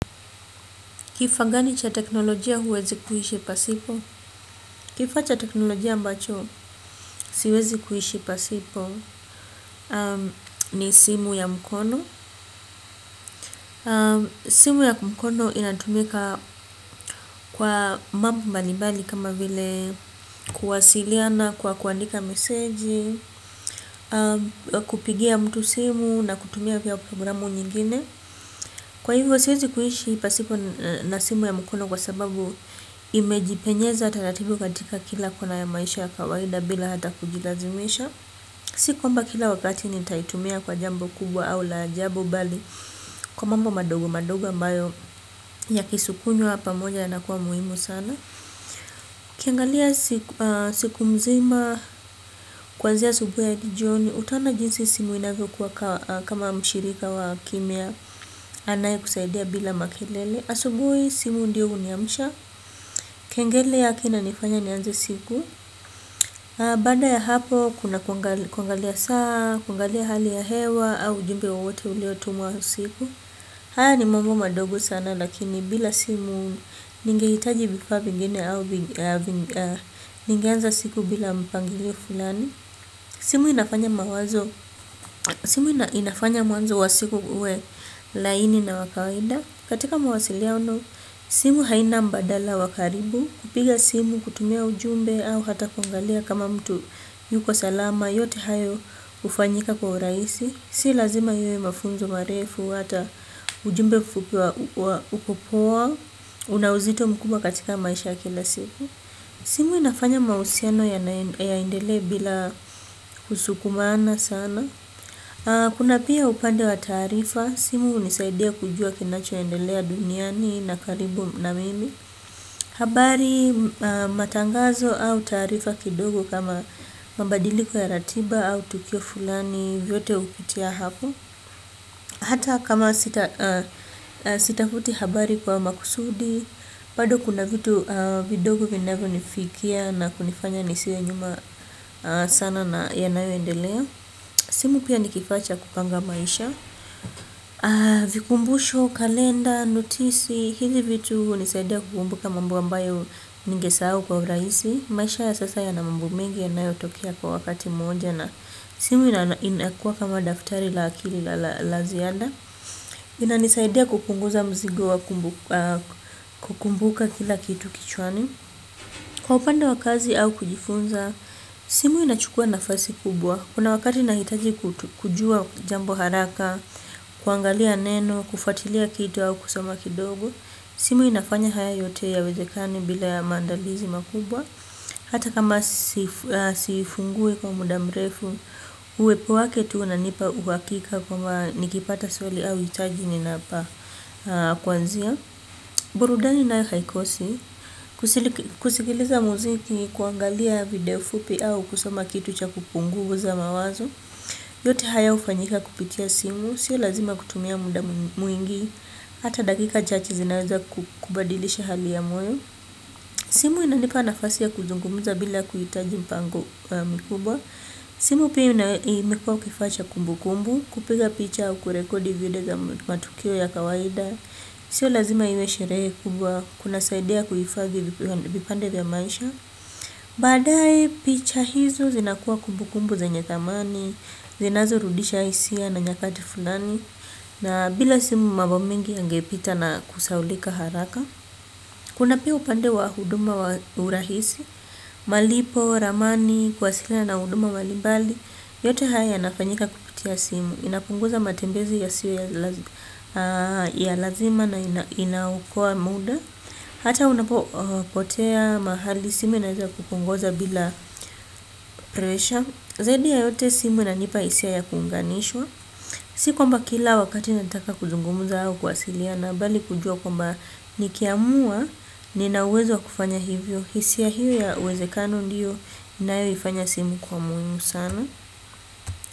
Kifa gani cha teknolojia huwezi kuhishi pasipo? Kifaa cha teknolojia ambacho siwezi kuishi pasipo ni simu ya mkono. Simu ya mkono inatumika kwa mambo mbali mbali kama vile kuwasiliana kwa kuandika meseji, kupigia mtu simu na kutumia vya programu nyingine. Kwa hivyo siwezi kuishi pasipo na simu ya mkono kwa sababu imejipenyeza taratibu katika kila kona ya maisha ya kawainda bila hata kujilazimisha. Si kwamba kila wakati nitaitumia kwa jambo kubwa au la ajabu bali kwa mambo madogo madogo ambayo yakisukunywa pamoja yanakuwa muhimu sana. Ukiangalia siku mzima kwanzia asubui hado jioni utaona jinsi simu inavyo kuwa kama mshirika wa kimya anaye kusaidia bila makelele. Asubui simu ndiyo uniamsha. Kengele yake inanifanya nianze siku. Baanda ya hapo kuna kuangalia saa kwangalia hali ya hewa au ujumbe wowote ulio tumwa usiku. Haya ni mambo madogo sana lakini bila simu ningeitaji vifaa vingene au ningeanza siku bila mpangilio fulani. Simu inafanya mawazo. Simu inafanya mwazo wa siku uwe laini na wa kawaida. Katika mawasiliano simu haina mbadala wa karibu. Kupiga simu kutumia ujumbe au hata kuangalia kama mtu yuko salama. Yote hayo ufanyika kwa uraisi. Si lazima iwe mafunzo marefu hata ujumbe mfupi una uzito mkubwa katika maisha ya kila siku simu inafanya mausiano yaendelee bila kusukumana sana kuna pia upande wa taarifa. Simu unisaidia kujua kinacho endelea duniani na karibu na mimi. Habari matangazo au taarifa kidogo kama mabadiliko ya ratiba au tukio fulani vyote upitia hapo. Hata kama sitafuti habari kwa makusudi bado kuna vitu vidogo vinavo nifikia na kunifanya nisiwe nyuma sana na yanayo endelea. Simu pia ni kifaa cha kupanga maisha vikumbusho kalenda notisi hivi vitu unisaidia kukumbuka mambo ambayo ningesahau kwa uraisi. Maisha ya sasa yana mambo mengi yanayotokea kwa wakati mmoja na simu inakua kama daftari la akili la ziada. Inanisaidia kupunguza mzigo wa kukumbuka kila kitu kichwani. Kwa upande wa kazi au kujifunza simu inachukua nafasi kubwa. Kuna wakati nahitaji kujua jambo haraka kuangalia neno, kufuatilia kitu au kusoma kidogo. Simu inafanya haya yote yawezekane bila ya maandalizi makubwa hata kama sifungue kwa muda mrefu. Uwepo wake tu unanipa uwakika kwamba nikipata swali au hitaji nina pa kuanzia. Burudani nayo haikosi. Kusikiliza muziki kuangalia video fupi au kusoma kitu cha kupunguuza mawazo. Yote haya ufanyika kupitia simu. Sio lazima kutumia muda mwingi hata dakika chache zinaweza kubadilisha hali ya moyo. Simu inanipana nafasi ya kuzungumuza bila kuitaji mpango mkubwa. Simu pia imekua kifaa cha kumbu kumbu. Kupiga picha kurekodi video za matukio ya kawaida. Sio lazima iwe sherehe kubwa, kunasaidia kuifathi vipande vya maisha. Baadae picha hizo zinakuwa kumbu kumbu zenye thamani, zinazo rudisha isia na nyakati fulani na bila simu mambo mengi yangepita na kusaulika haraka. Kuna pia upande wa huduma wa urahisi, malipo, ramani, kuwasiliana na huduma mbalimbali. Yote haya yanafanyika kupitia simu, inapunguza matembezi yasio ya lazima na inaokoa muda. Hata unapo potea mahali simu inaweza kukuongoza bila presha zaidi ya yote simu inanipa hisia ya kuunganishwa. Si kwamba kila wakati nataka kuzungumza au kuwasiliana bali kujua kwamba nikiamua nina uwezo wa kufanya hivyo. Hisia hio ya uwezekano ndio inayo ifanya simu kuwa muhimu sana.